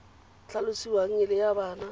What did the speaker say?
tlhalosiwang e le ya bana